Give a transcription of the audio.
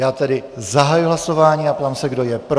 Já tedy zahajuji hlasování a ptám se, kdo je pro.